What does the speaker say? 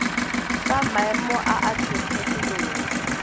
fa maemo a a kgethegileng